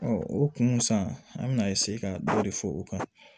o kun san an bɛna ka dɔ de fɔ o kan